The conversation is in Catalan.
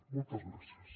moltes gràcies